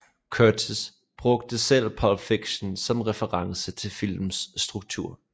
Curtis brugte selv Pulp Fiction som reference til filmens struktur